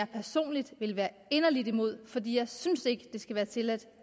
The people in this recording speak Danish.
personligt vil være inderligt imod fordi jeg ikke synes det skal være tilladt